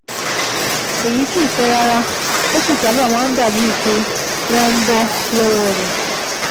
Èyí kìí pẹ́ rárá, ó sì sábà máa ń dàbíi pé wọ́n ń bọ́ lọ́wọ́ rẹ̀